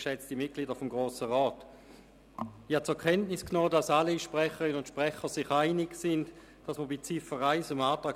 Ich habe zur Kenntnis genommen, dass alle Sprecherinnen und Sprecher bei der Ziffer 1 dem Antrag der Regierung folgen möchten.